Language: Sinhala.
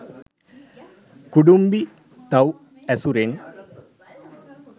කුඩුම්බි, තව් ඇසුරින්